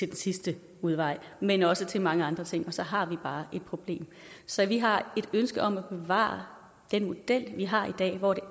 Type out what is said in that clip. den sidste udvej men også til mange andre ting og så har vi bare et problem så vi har et ønske om at bevare den model vi har i dag hvor det